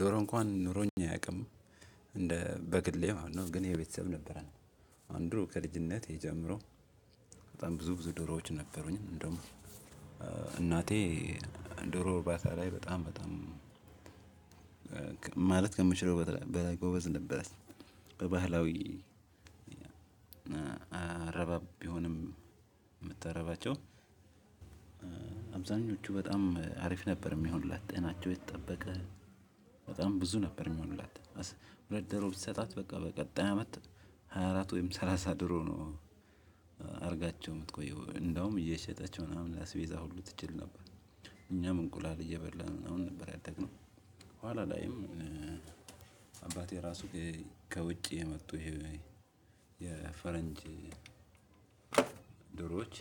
ድሮ እንኳን ኑሮኝ አያውቅም። እንደ በግሌ ማለት ነው ግን የቤተሰብ ነበረን። ድሮ ከልጅነቴ ጀምሮ በጣም ብዙ ዶሮዎች ነበሩኝ። እንድሁም እናቴ ዶሮ ዕርባታ ላይ በጣም ማለት ከምችለው በላይ ጎበዝ ነበረች። በባህላዊ አረባብ ቢሆንም የምትረባቸው አብዛኞቹ በጣም አሪፍ ነበር የሚሆኑላት ጤናቸው የተጠበቀ በጣም ብዙ ነበር የሚሆንላት። ሁለት ዶሮ ብትሰጣት በቃ በቀጣይ አመት ሃያ አራት ወይም ሰላሳ ደሮ ነው። አድርጋቸው የምትቆየው እንደውም እየሸጠች ምናምን ላስቤዛ ሁሉ ትችል ነበር። እኛም እንቁላል እየበላን ነው አሁን ነበር ያደግነው። ኋላ ላይም አባቴ ራሱ ከውጭ የመጡ የፈረንጅ ዶሮዎች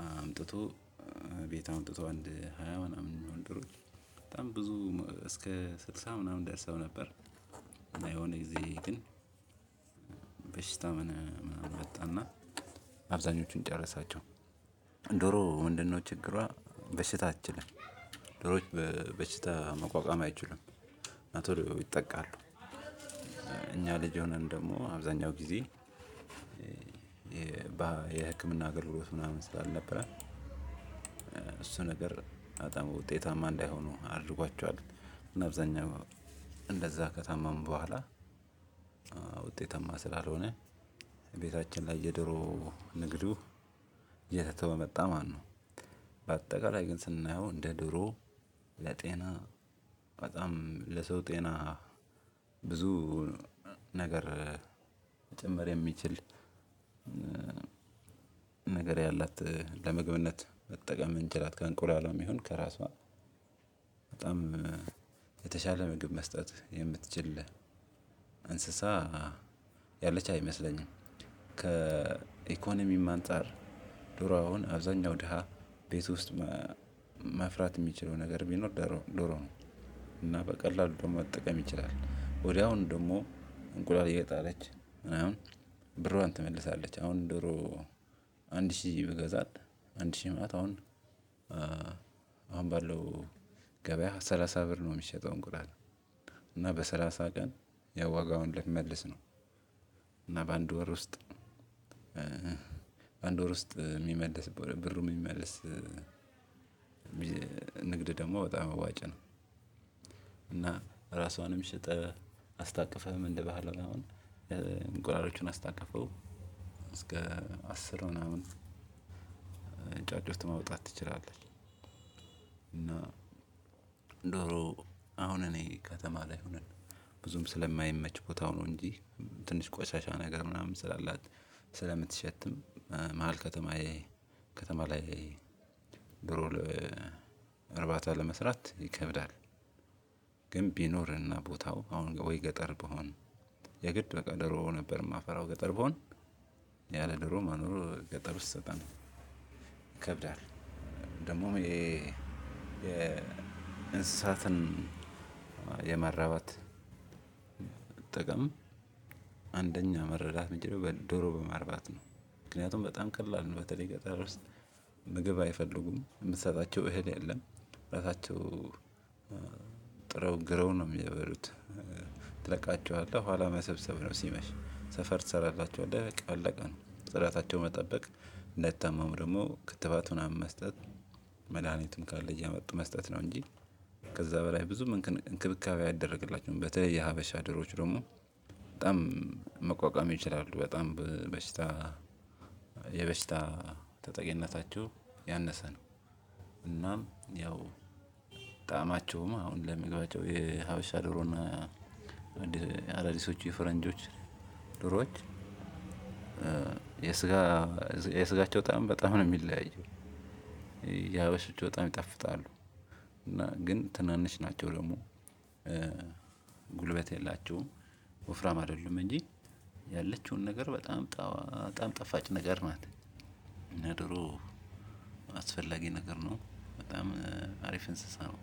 አምጥቶ ቤት አምጥቶ አንድ ሃያ ምናምን ዶሮዎች በጣም ብዙ እስከ ስልሳ ምናምን ደርሰው ነበር። የሆነ ጊዜ ግን በሽታ ምናምን መጣና አብዛኞቹን ጨረሳቸው። ዶሮ ምንድነው ችግሯ በሽታ አትችልም። ዶሮዎች በሽታ መቋቋም አይችሉም። በቶሎ ይጠቃሉ። እኛ ልጅ የሆነን ደግሞ አብዛኛው ጊዜ የህክምና አገልግሎት ምናምን ስላልነበረ። እሱ ነገር በጣም ውጤታማ እንዳይሆኑ አድርጓቸዋል እና አብዛኛው እንደዛ ከታመሙ በኋላ ውጤታማ ስላልሆነ ቤታችን ላይ የዶሮ ንግዱ እየተተወ መጣ ማለት ነው። በአጠቃላይ ግን ስናየው እንደ ዶሮ ለጤና በጣም ለሰው ጤና ብዙ ነገር መጨመር የሚችል ነገር ያላት ለምግብነት መጠቀም እንችላል ከእንቁላልም ይሁን ከራሷ በጣም የተሻለ ምግብ መስጠት የምትችል እንስሳ ያለች አይመስለኝም። ከኢኮኖሚም አንፃር ዶሮ አሁን አብዛኛው ደሃ ቤት ውስጥ መፍራት የሚችለው ነገር ቢኖር ዶሮ ነው። እና በቀላሉ መጠቀም ይችላል ወዲያውኑ ደግሞ እንቁላል እየጣለች ምናምን ብሯን ትመልሳለች። አሁን ዶሮ አንድ ሺህ ብገዛት አንድ ሺህ ማለት አሁን አሁን ባለው ገበያ ሰላሳ ብር ነው የሚሸጠው እንቁላል እና በሰላሳ ቀን ያዋጋውን ለመመለስ ነው። እና በአንድ ወር ውስጥ በአንድ ወር ውስጥ የሚመልስ ብሩ የሚመልስ ንግድ ደግሞ በጣም አዋጭ ነው። እና ራሷንም ሽጥህ አስታቅፈህ ምን ልበሃለ አሁን እንቁላሎቹን አስታቅፈው እስከ አስር ምናምን ጫጩት ማውጣት ትችላለች። እና ዶሮ አሁን እኔ ከተማ ላይ ሆነን ብዙም ስለማይመች ቦታው ነው እንጂ ትንሽ ቆሻሻ ነገር ምናምን ስላላት ስለምትሸትም መሃል ከተማ ላይ ዶሮ እርባታ ለመስራት ይከብዳል። ግን ቢኖርና ቦታው አሁን ወይ ገጠር ብሆን የግድ በቃ ዶሮ ነበር የማፈራው ገጠር ብሆን ያለ ዶሮ መኖር ገጠር ውስጥ በጣም ይከብዳል። ደግሞም የ የእንስሳትን የመራባት መጠቀም አንደኛ መረዳት የምንችለው ዶሮ በማርባት ነው። ምክንያቱም በጣም ቀላል ነው በተለይ ገጠር ውስጥ ምግብ አይፈልጉም የምትሰጣቸው እህል የለም። ራሳቸው ጥረው ግረው ነው የሚበሉት። ትለቃቸዋለህ ኋላ መሰብሰብ ነው ሲመሽ ሰፈር ትሰራላቸዋለህ በቃ አለቀ ራሳቸው መጠበቅ እንዳይታመሙ ደግሞ ክትባት ምናምን መስጠት መድሃኒትም ካለ እያመጡ መስጠት ነው። እንጂ ከዛ በላይ ብዙም እንክብካቤ አይደረግላቸውም። በተለይ የሀበሻ ዶሮዎች ደግሞ በጣም መቋቋም ይችላሉ በጣም በሽታ የበሽታ ተጠቂነታቸው ያነሰ ነው። እናም ያው ጣማቸውም አሁን ለመግባቸው የሀበሻ ዶሮና አረሪሶች የፈረንጆችዶሮዎች የስጋቸው ጣዕም በጣም ነው የሚለያየው። የሀበሾች በጣም ይጣፍጣሉ። እና ግን ትናንሽ ናቸው ደግሞ ጉልበት የላቸውም ወፍራም አይደለም። እንጂ ያለችውን ነገር በጣም በጣም ጣፋጭ ነገር ናት። እና ዶሮ አስፈላጊ ነገር ነው በጣም አሪፍ እንስሳ ነው